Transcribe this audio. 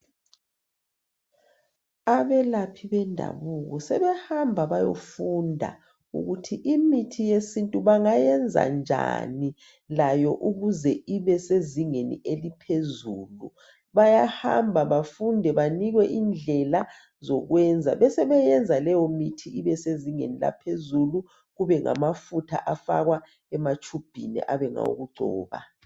Abelaphi bomdabuko sebehamba bayefunda ukuthi imithi yesintu bangayenza njani layo ukuze ibe sezingeni eliphezulu .Bayahamba bafunde banikwe indlela zokwenza besebeyenza leyo mithi ibesezingeni laphezulu kube ngamafutha afakwa ematshubhini abe ngawokugcoba